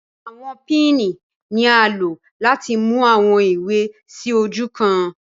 Awọn pinni ni a lo lati mu awọn iwe si oju kan